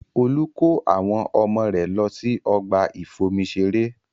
Olú kó àwọn ọmọ rẹ̀ lọ sí ọgbà ìfomi ṣeré